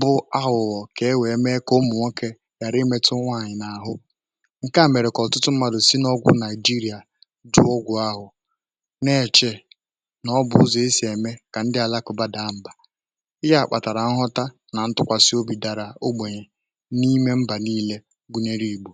bụ ahụ̀ghọ̀ kà e wee mee kà ụmụ̀ nwokė ghàra imetu nwàànyị̀ n’àhụ ǹke à mèrè um kà ọ̀tụtụ mmadụ̀ si n’ọgwụ̀ Naịjirịà dụ ụgwụ̀ ahụ̀ na-èchè nà ọ bụ̀ zùo isi̇ ème kà ndị àlakụba dàa mbà ị gà àkpàtàrà nghọta nà ntụkwàsị obidàrà ogbènyè n’ime mbà niilė gụ̀nyèrè ìgbò